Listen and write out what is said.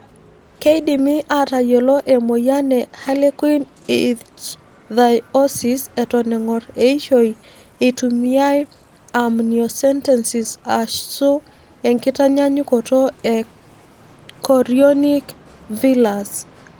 Keidimi atayiolo emoyian e harlequin ichthyosis eton engor eishoi eitumiyae amniocentesis asu nkitanyanyukot e chorionic villus.